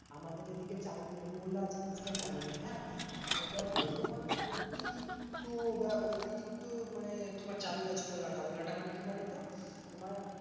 আমাদের এদিকে চালু নেই ওলা জিনিসটা চালু নেই, হ্যাঁ? হায়দ্রাবাদে তো তোমার অতিরিক্ত অতিরিক্ত মানে তোমার চালু আছে ওলাটা। ওলাটা মানে কি বলতো? তোমার